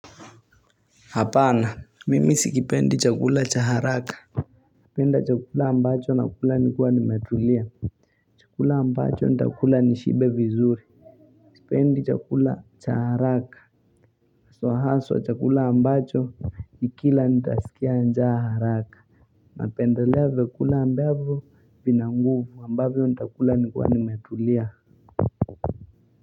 Hapana, mimi sikipendi chakula cha haraka napenda chakula ambacho nakula nikua nimetulia Chakula ambacho nitakula nishibe vizuri Sipendi chakula cha haraka haswa haswa chakula ambacho nikila nitasikia njaa haraka napendelea vyakula ambavyo vina nguvu ambavyo nitakula nikiwa nimetulia.